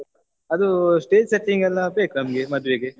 ಅದು stage setting ಎಲ್ಲಾ ಬೇಕ್ ನಮ್ಗೆ ಮದ್ವೆಗೆ.